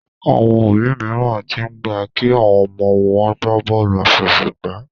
Àwọn òbí míràn t'in gbà kí àwọn ọmọ wón gbàbóòlù afẹsẹgba